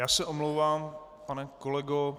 Já se omlouvám, pane kolego.